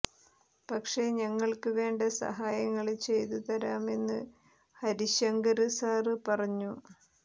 പക്ഷെ ഞങ്ങള്ക്ക് വേണ്ട സഹായങ്ങള് ചെയ്തു തരാമെന്നു ഹരിശങ്കര് സാര് പറഞ്ഞു